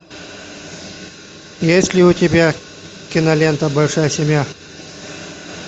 есть ли у тебя кинолента большая семья